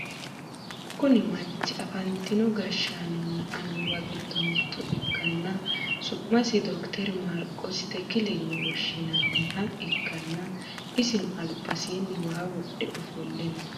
kuni manchi afantino gashshaanonna annuwa giddo mitto ikkanna, su'masino dokiteri marikosi tekile yine woshshinannoha ikkanna, isino albasinni waa wodhe ofolle no.